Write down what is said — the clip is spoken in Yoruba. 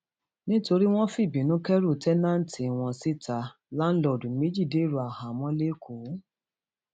nítorí wọn fìbínú kẹrù táǹtẹǹtì wọn síta láńlọọdù méjì dèrò àhámọ lẹkọọ